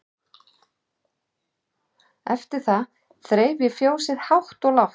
Eftir það þreif ég fjósið hátt og lágt.